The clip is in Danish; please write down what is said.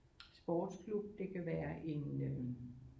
Sportsklub det kan være en øh